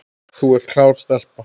Þú ert klár stelpa.